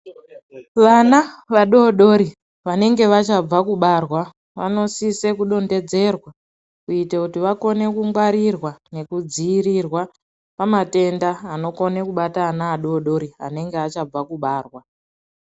Vana vadodori , vanenge vachabva kubarwa vanosise kudhonedzerwa kuita kuti vakone kungwarirwa nekudziyirirwa pamatenda anokone kubata ana adodori anenge achabva kubarwa.